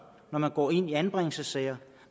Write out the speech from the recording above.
når man går ind i anbringelsessager